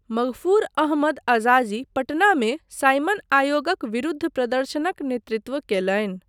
मग़फ़ूर अहमद अज़ाज़ी पटनामे साइमन आयोगक विरुद्ध प्रदर्शनक नेतृत्व कयलनि।